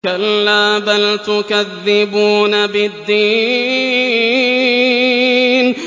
كَلَّا بَلْ تُكَذِّبُونَ بِالدِّينِ